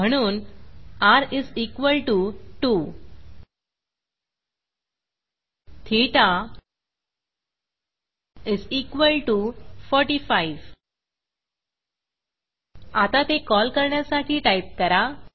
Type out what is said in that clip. म्हणून र 2 ठेता 45 आता ते कॉल करण्यासाठी टाईप करा